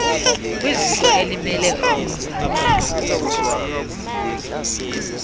kwiziko elimele umzantsi